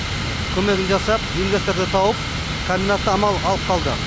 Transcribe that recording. көмегін жасап инвесторды тауып комбинатты аман алып қалды